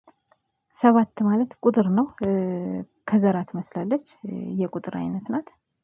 ሰባት ማለት ቁጥር ነው። ከዘራ ትመስላለች የቁጥር አይነት ናት